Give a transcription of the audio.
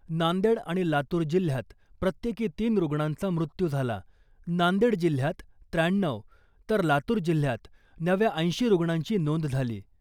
नांदेड आणि लातूर जिल्ह्यात प्रत्येकी तीन रुग्णांचा मृत्यू झाला , नांदेड जिल्ह्यात त्र्याण्णऊ, तर लातूर जिल्ह्यात नव्या ऐंशी रुग्णांची नोंद झाली .